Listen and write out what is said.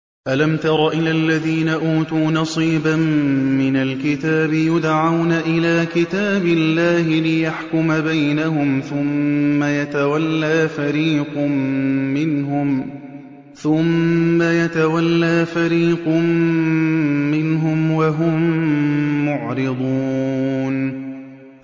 أَلَمْ تَرَ إِلَى الَّذِينَ أُوتُوا نَصِيبًا مِّنَ الْكِتَابِ يُدْعَوْنَ إِلَىٰ كِتَابِ اللَّهِ لِيَحْكُمَ بَيْنَهُمْ ثُمَّ يَتَوَلَّىٰ فَرِيقٌ مِّنْهُمْ وَهُم مُّعْرِضُونَ